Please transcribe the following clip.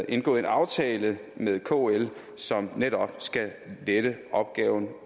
indgået en aftale med kl som netop skal lette opgaven